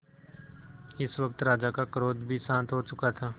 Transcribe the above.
इस वक्त राजा का क्रोध भी शांत हो चुका था